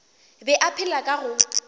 be a phela ka go